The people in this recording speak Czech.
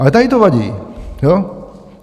Ale tady to vadí, jo?